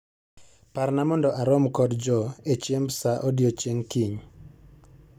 Parna mondo a rom kod Joe e chiemb saa odiechieng' kiny.